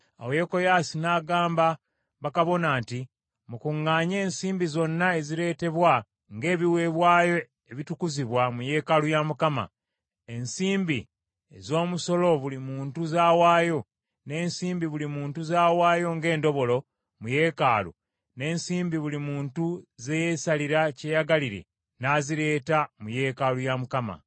Awo Yekoyaasi n’agamba bakabona nti, “Mukuŋŋaanye ensimbi zonna ezireetebwa ng’ebiweebwayo ebitukuzibwa mu yeekaalu ya Mukama , ensimbi ez’omusolo buli muntu z’awaayo, n’ensimbi buli muntu z’awaayo ng’endobolo mu yeekaalu, n’ensimbi buli muntu ze yeesalira kyeyagalire, n’azireeta mu yeekaalu ya Mukama ,